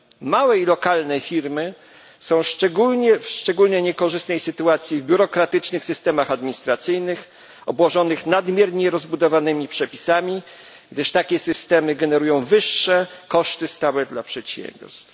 Małe i lokalne firmy są w szczególnie niekorzystnej sytuacji w biurokratycznych systemach administracyjnych obłożonych nadmiernie rozbudowanymi przepisami, gdyż takie systemy generują wyższe koszty stałe dla przedsiębiorstw.